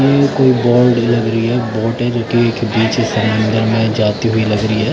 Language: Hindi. ये कोई लग रही हैं के एक साइड में जाती हुई लग रही है।